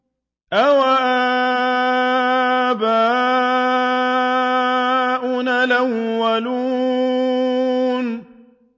أَوَآبَاؤُنَا الْأَوَّلُونَ